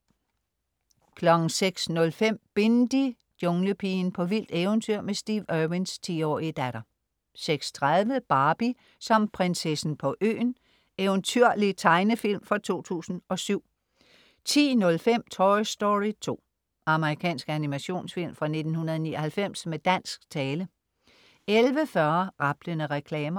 06.05 Bindi: Junglepigen. på vildt eventyr med Steve Irwins 10-årige datter 06.30 Barbie som Prinsessen på Øen. eventyrlig tegnefilm fra 2007 10.05 Toy Story 2. Amerikansk animationsfilm fra 1999 med dansk tale 11.40 Rablende reklamer